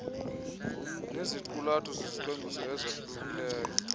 neziqulatho zezicwangciso esahlukileyo